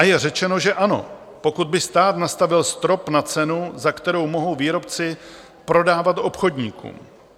A je řečeno, že ano, pokud by stát nastavil strop na cenu, za kterou mohou výrobci prodávat obchodníkům.